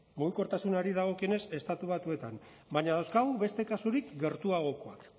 mugikortasunari dagokienez estatu batuetan baina dauzkagu beste kasurik gertuagokoak